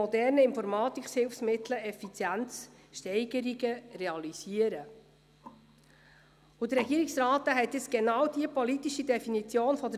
Aber ich kann nicht zulassen, dass sie hier falsch interpretiert wird.